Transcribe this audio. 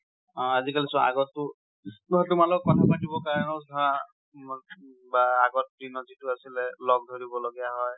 অ আজিকালি চোৱা, আগতটো~, চোৱা তোমাৰ লগত কথা পাতিব কাৰনেও ধৰা, , বা আগৰ দিনত যিটো আছিলে, লগ ধৰিব লগীয়া হয়